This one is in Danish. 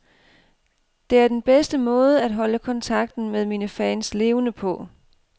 Det er den bedste måde at holde kontakten med mine fans levende på.